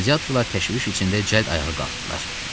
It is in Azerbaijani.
Qladiyatorlar təşviş içində cəld ayağa qalxdılar.